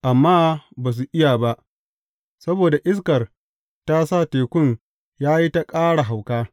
Amma ba su iya ba, saboda iskar ta sa tekun ya yi ta ƙara hauka.